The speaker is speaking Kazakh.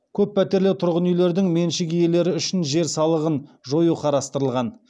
көппәтерлі тұрғын үйлердің меншік иелері үшін жер салығын жою қарастырылған